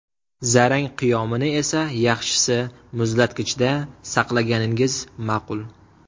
Zarang qiyomini esa yaxshisi muzlatgichda saqlaganingiz ma’qul.